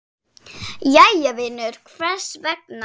Jæja vinur, hvers vegna?